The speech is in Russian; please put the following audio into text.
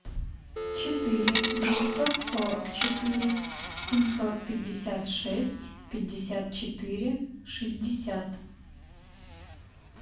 четыре девятьсот сорок четыре семьсот пятьдесят шесть пятьдесят четыре шестьдесят